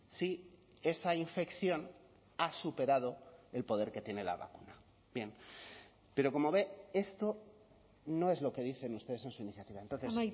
si esa infección ha superado el poder que tiene la vacuna bien pero como ve esto no es lo que dicen ustedes en su iniciativa entonces